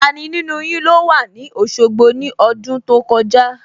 Tani nínú yin ló wà ní Òṣogbo ní ọdún tó kọjá?